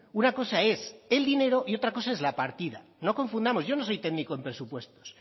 una cosa es el dinero y otra cosa es la partida no confundamos yo no soy técnico en presupuestos